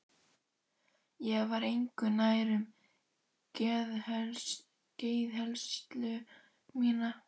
Ég var engu nær um geðheilsu mína.